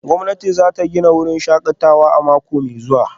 Gwamnati za ta gina sabon wurin shakatawa a mako mai zuwa